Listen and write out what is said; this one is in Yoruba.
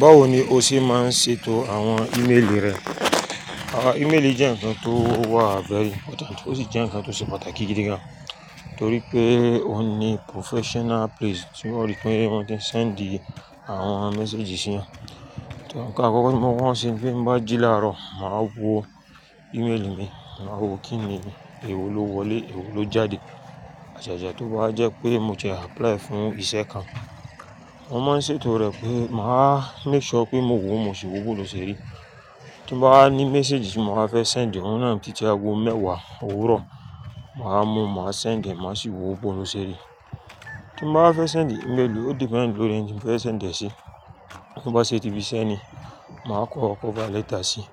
Báwo ni o ṣe máa ń ṣètò àwọn ímeèlì rẹ? Àwọn ímeèlì jẹ́ ǹkan tó wà vwry important, ó sì jẹ́ ǹkan tó ṣe pàtàkì gidi gan, torí pé ó ní professional place tí wọ́n lè pẹ́ wọ́n sì ń send àwọn message sí yàn. Nkàn àkọ́kọ́, tí mo kọ́kọ́ ma nse tí mo bá jì láàárọ̀, màá wo ímeèlì mi, màá wo kín ni, èwo ló wọlé, èwo ló jáde. Àṣàṣà tó bá jẹ́ pé mo ti apply fún ìṣe kan, wọ́n máa ń ṣètò rẹ̀ pé màá make sure pé mo wò ó mọ̀ ṣe wò bó ló ṣerí. Tí mo bá ní message tí mo máa fẹ́ send, òun náà títí ago mẹ́wàá òwúrọ̀, màá mú, màá send ẹ́, màá sì wo bó ló ṣerí. Tí mo bá fẹ́ send ímeèlì, o depend lórí ẹni tí mo fẹ́ send ẹ́ sí. Bí ó bá ṣe ti ibi iṣẹ́ ni, màá kọ cover letter sí i.